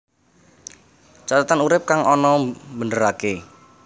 Cathetan urip kang ana mbeneraké